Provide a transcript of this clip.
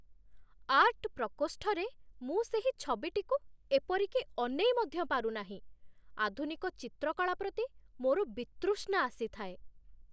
Art ପ୍ରକୋଷ୍ଠରେ ମୁଁ ସେହି ଛବିଟିକୁ ଏପରିକି ଅନେଇ ମଧ୍ୟ ପାରୁନାହିଁ, ଆଧୁନିକ ଚିତ୍ରକଳା ପ୍ରତି ମୋର ବିତୃଷ୍ଣା ଆସିଥାଏ।